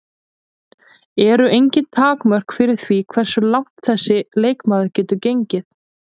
Eru engin takmörk fyrir því hversu langt þessi leikmaður getur gengið?